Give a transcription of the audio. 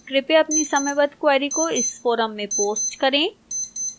कृपया अपनी समयबद्ध queries को इस forum में post करें